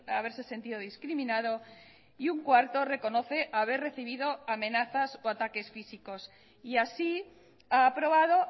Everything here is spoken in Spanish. haberse sentido discriminado y un cuarto reconoce haber recibido amenazas o ataques físicos y así ha aprobado